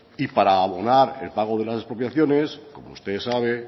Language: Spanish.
para abonar el pago de las expropiaciones como usted sabe